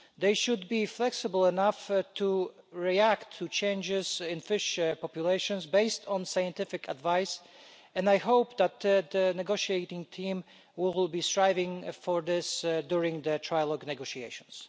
They should be flexible enough to react to changes in fish populations based on scientific advice, and I hope that the negotiating team will be striving for this during their trilogue negotiations.